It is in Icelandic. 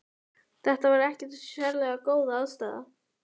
Þetta var ekkert sérlega góð aðstaða.